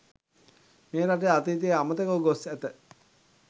මේ රටේ අතීතය අමතකව ගොස් ඇත.